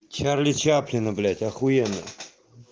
чарли чаплина блять ахуенно